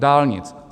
Dálnic.